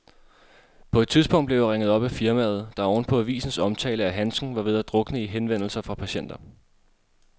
På et tidspunkt blev jeg ringet op af firmaet, der oven på avisens omtale af handsken var ved at drukne i henvendelser fra patienter.